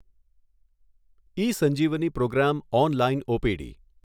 E Sanjeevani programme online OPD